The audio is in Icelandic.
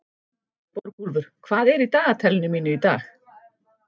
Borgúlfur, hvað er í dagatalinu mínu í dag?